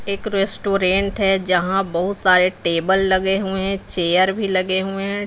एक रेस्टोरेंट है जहां बहुत सारे टेबल लगे हुए हैं चेयर भी लगे हुए हैं।